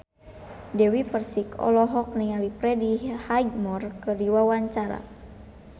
Dewi Persik olohok ningali Freddie Highmore keur diwawancara